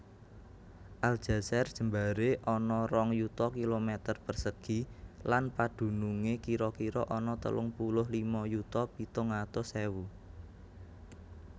Aljazair jembaré ana rong yuta kilometer persegi lan padunungé kira kira ana telung puluh lima yuta pitung atus ewu